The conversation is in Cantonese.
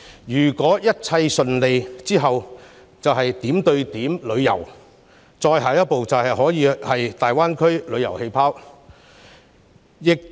如果一切順利推行，下一階段便是點對點旅遊，最後便是大灣區旅遊氣泡。